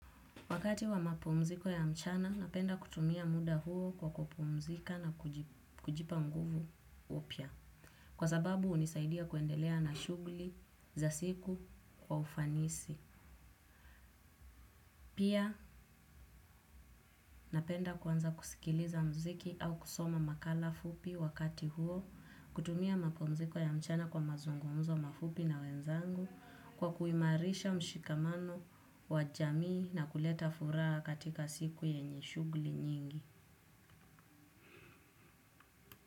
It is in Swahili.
Wakati wa mapumziko ya mchana, napenda kutumia muda huo kwa kupumzika na kujipa nguvu upya. Kwa sababu, hunisaidia kuendelea na shughuli za siku kwa ufanisi. Pia, napenda kwanza kusikiliza mziki au kusoma makala fupi wakati huo, kutumia mapumziko ya mchana kwa mazungumzo mafupi na wenzangu kwa kuimarisha mshikamano wa jamii na kuleta furaha katika siku yenye shughuli nyingi.